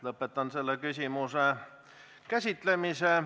Lõpetan selle küsimuse käsitlemise.